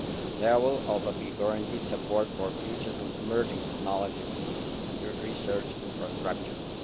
There will also be guaranteed support for Future and Emerging Technologies and Research Infrastructures.